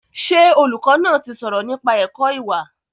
Ṣé olùkọ́ náà ti sọ̀rọ̀ nípa ẹ̀kọ́ ìwà?